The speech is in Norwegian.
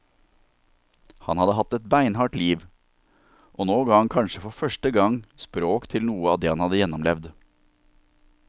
Han hadde hatt et beinhardt liv, og nå ga han kanskje for første gang språk til noe av det han hadde gjennomlevd.